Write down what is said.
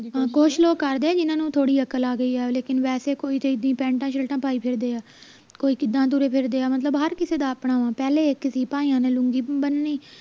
ਕੁਸ਼ ਲੋਕ ਕਰਦੇ ਆ ਜਿੰਨਾ ਨੂੰ ਥੋੜੀ ਅਕਲ ਆ ਗਈ ਹੈ ਲੇਕਿਨ ਵੈਸੇ ਤਾਂ ਕੋਈ ਤੇ ਇੱਦਾਂ ਹੀ ਪੇਂਟਾ ਸ਼ਿਰਟਾਂ ਪਾਈ ਫਿਰਦੇ ਆ ਕੋਈ ਕਿੱਦਾਂ ਤੁਰੇ ਫਿਰਦੇ ਆ ਮਤਲਬ ਹਰ ਕਿਸੇ ਦਾ ਆਪਣਾ ਪਹਿਲਾਂ ਹੀ ਇਕ ਸੀ ਭਾਈਆਂ ਨੇ ਲੂੰਗੀ ਬਣਨੀ